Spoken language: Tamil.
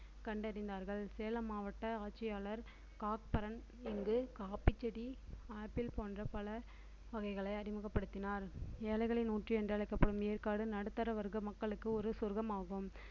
கண்டறிந்தார்கள் சேலம் மாவட்ட ஆட்சியாளர் காக் பரன் இங்கு காப்பிச்செடி ஆப்பிள் போன்ற பழ வகைகளை அறிமுகப்படுத்தினார் ஏழைகளின் ஊட்டி என்றழைக்கப்படும் ஏற்காடு நடுத்தர வர்க்க மக்களுக்கு ஒரு சொர்க்கமாகும்